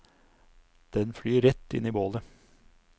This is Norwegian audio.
Den flyr rett inn i bålet.